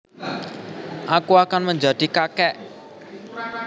Aku akan menjadi kakek